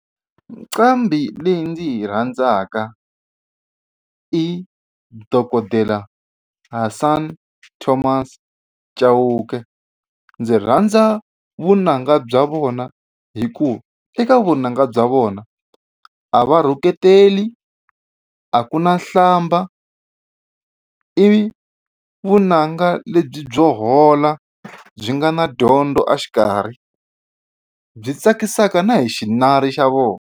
Nqambi leyi ndzi yi rhandzaka i dokodela Hasani Thomas Chauke ndzi rhandza vunanga bya vona hi ku eka vunanga bya vona a va rhuketeli a ku na hlamba i vunanga lebyi byo hola byi nga na dyondzo exikarhi byi tsakisaka na hi xinari xa vona.